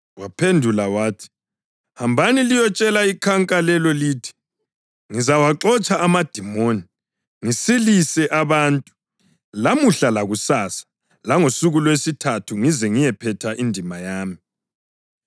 Waphendula wathi, “Hambani liyotshela ikhanka lelo lithi, ‘Ngizawaxotsha amadimoni, ngisilise abantu, lamuhla lakusasa langosuku lwesithathu ngize ngiyiphethe indima yami.’